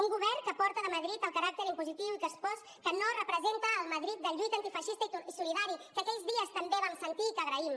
un govern que porta de madrid el caràcter impositiu i caspós que no representa el madrid de lluita antifeixista i solidari que aquells dies també vam sentir i que agraïm